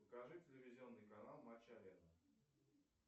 покажи телевизионный канал матч арена